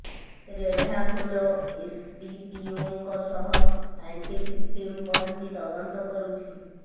ରେଢାଖୋଲ ଏସଡିପିଓଙ୍କ ସହ scientific team ପହଞ୍ଚି ତଦନ୍ତ କରୁଛି